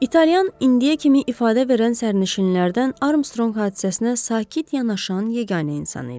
İtalyan indiyə kimi ifadə verən sərnişinlərdən Armstronq hadisəsinə sakit yanaşan yeganə insan idi.